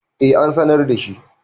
eh an sanar da shi